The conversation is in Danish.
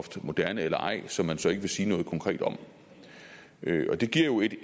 moderne eller ej som man så ikke vil sige noget konkret om og det giver jo